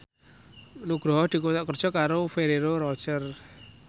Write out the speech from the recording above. Nugroho dikontrak kerja karo Ferrero Rocher